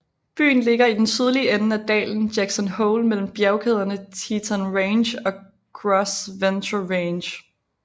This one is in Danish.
Byen ligger i den sydlige ende af dalen Jackson Hole mellem bjergkæderne Teton Range og Gros Ventre Range